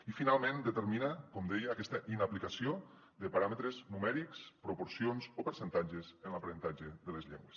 i finalment determina com deia aquesta inaplicació de paràmetres numèrics proporcions o percentatges en l’aprenentatge de les llengües